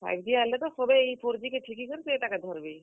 Five G ଆଏଲେ ତ ସଭେ ଇ four G କେ ଫିକି କରି ସେତାକେ ଧର୍ ବେ।